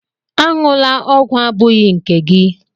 Aṅụla ọgwụ abụghị nke gị!